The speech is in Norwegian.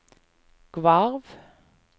Gvarv